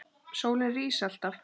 Sólin rís alltaf aftur.